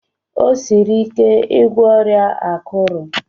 O siri ike igwọ ọrịa akuru.